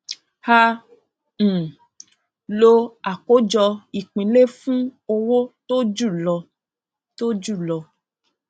a um lo àkójọ ìpínlẹ fún owó tó ju lọ tó julọ